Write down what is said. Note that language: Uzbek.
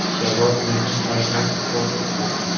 Javob meni hayron qoldirdi.